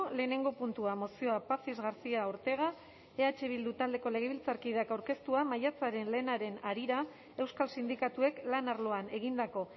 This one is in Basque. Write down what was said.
lehenengo puntua mozioa pazis garcia ortega eh bildu taldeko legebiltzarkideak aurkeztua maiatzaren lehenaren harira euskal sindikatuek lan arloan egindako